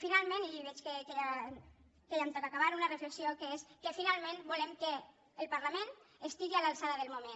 finalment i veig que ja em toca acabar una reflexió que és que finalment volem que el parlament estigui a l’alçada del moment